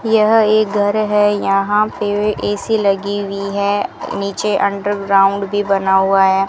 यह एक घर है यहां पे ऐ_सी लगी हुई है नीचे अंडर ग्राउंड भी बना हुआ है।